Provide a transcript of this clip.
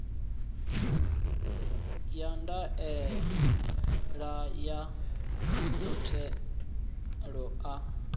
ya ndaela ya muthelo a